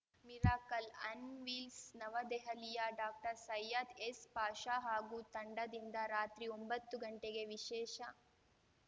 miracle on wheels ನವದೆಹಲಿಯ ಡಾಕ್ಟರ್ಸೈಯದ್‌ S Pasha ಹಾಗೂ ತಂಡದಿಂದ ರಾತ್ರಿ ಒಂಬತ್ತುಗಂಟೆಗೆ ವಿಶೇಷ